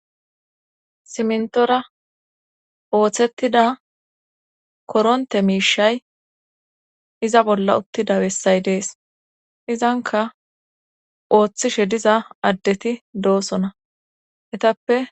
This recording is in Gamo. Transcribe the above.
simntora ooththettida koronte miishay iza bolla uttida bessay dees izanka ooththishe diza addeti doosona etappe